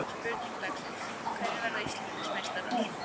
Spurning dagsins: Hverjir verða Íslandsmeistarar?